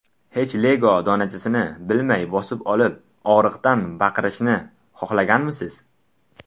Hech Lego donachasini bilmay bosib olib, og‘riqdan baqirishni xohlaganmisiz?